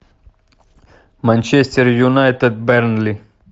манчестер юнайтед бернли